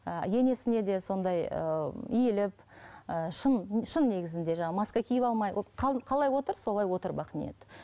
ы енесіне де сондай ыыы иіліп ыыы шын шын негізінде жаңағы маска киіп алмай ол қалай отыр солай отыр бақниет